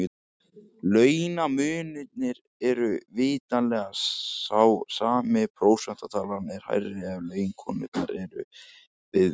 Launamunurinn er vitanlega sá sami en prósentutalan er hærri ef laun konunnar er viðmiðið.